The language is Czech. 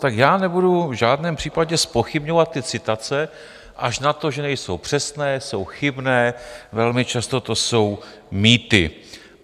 Tak já nebudu v žádném případě zpochybňovat ty citace až na to, že nejsou přesné, jsou chybné, velmi často to jsou mýty.